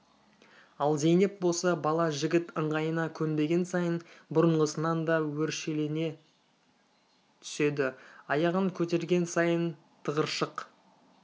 ал зейнеп болса бала жігіт ыңғайына көнбеген сайын бұрынғысынан да өршелене түседі аяғын көтерген сайын тығыршық